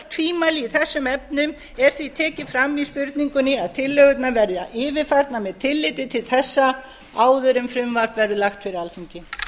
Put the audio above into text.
öll tvímæli í þessum efnum er því tekið fram í spurningunni að tillögurnar verði yfirfarnar með tilliti til þessa áður en frumvarp verður lagt fyrir alþingi